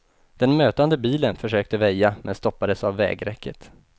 Den mötande bilen försökte väja, men stoppades av vägräcket.